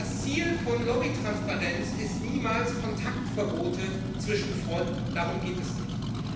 Das Ziel von Lobbytransparenz ist niemals Kontaktverbote zwischen Freunden darum geht es nicht.